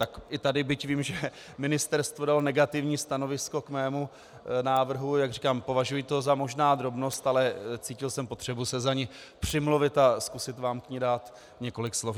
Tak i tady, byť vím, že ministerstvo dalo negativní stanovisko k mému návrhu, jak říkám, považuji to možná za drobnost, ale cítil jsem potřebu se za ni přimluvit a zkusit vám k ní dát několik slov.